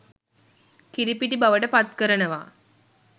කිරිපිටි බවට පත්කරනවා.